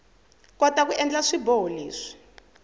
kota ku endla swiboho leswi